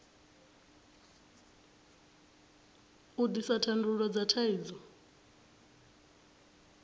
u ḓisa thandululo dza thaidzo